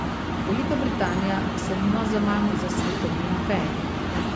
Velika Britanija se nima zaman za svetovni imperij.